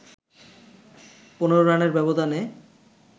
১৫ রানের ব্যবধানে